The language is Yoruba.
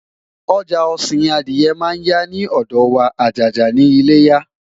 ọja osin Adiye man ya ni odo wa ajaja ni iléyá